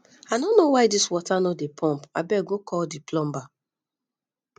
i no know why dis water no dey pump abeg go call the plumber